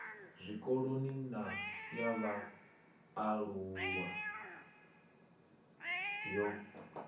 zwikoloni na ya vhaalulwa yo